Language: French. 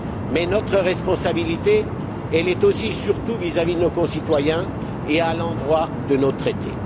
Mais notre responsabilité, elle est aussi surtout vis à vis de nos concitoyens et à l'endroit de nos traités.